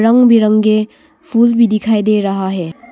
बिरंगे फूल भी दिखाई दे रहा है।